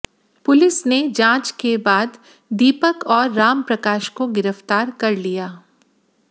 police ने जांच के बाद दीपक और राम प्रकाश को गिरफ्तार कर लिया